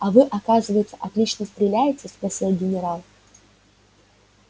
а вы оказывается отлично стреляете спросил генерал